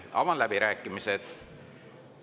Avan läbirääkimised.